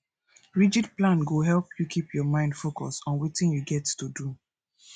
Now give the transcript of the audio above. rigid plan go help you keep your mind focused on wetin you get to do